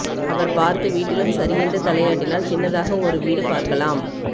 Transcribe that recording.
அவர் பார்த்து வீட்டிலும் சரியென்று தலையாட்டினால் சின்னதாக ஒரு வீடு பார்க்கலாம்